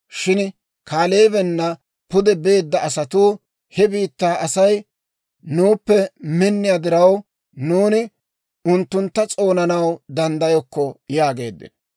Shin Kaaleebena pude beedda asatuu, «He biittaa Asay nuuppe minniyaa diraw, nuuni unttuntta s'oonanaw danddayokko» yaageeddino.